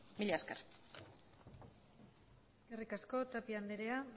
mila esker eskerrik asko tapia anderea